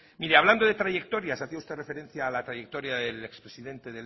mire hablando de trayectorias hacía usted referencia a la trayectoria del expresidente